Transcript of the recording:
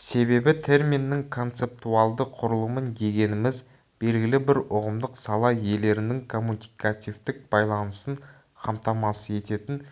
себебі терминнің концептуалды құрылымы дегеніміз белгілі бір ұғымдық сала иелерінің коммуникативтік байланысын қамтамасыз ететін